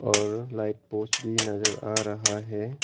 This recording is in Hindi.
और लाइट पोस्ट भी नजर आ रहा है।